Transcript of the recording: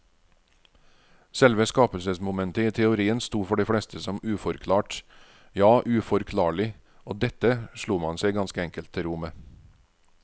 Selve skapelsesmomentet i teorien sto for de fleste som uforklart, ja uforklarlig, og dette slo man seg ganske enkelt til ro med.